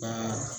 Baara